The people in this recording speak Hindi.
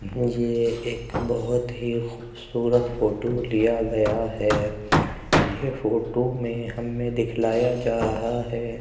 ये एक बोहत ही खूबसूरत फोटो लिया गया है। ये फोटो में हमें दिखलाया जा रहा है।